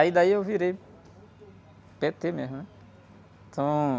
Aí daí eu virei pê-tê mesmo, né? Então...